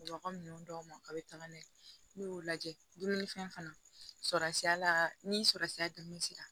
Wa ninnu dɔw ma a bɛ taga n'a ye n'u y'o lajɛ dumunifɛn fana sɔrɔ ni sɔrɔsiya dumuni sira la